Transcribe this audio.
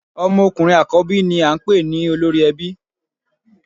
Ọmọ ọkùnrin àkọ́bí ni à n pè ní Olórí Ẹbí